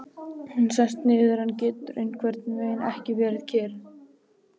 Hún sest niður en getur einhvernveginn ekki verið kyrr.